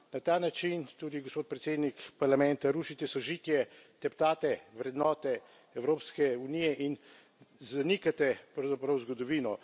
Na ta način, tudi, gospod predsednik Parlamenta, rušite sožitje, teptate vrednote Evropske unije in zanikate, pravzaprav, zgodovino.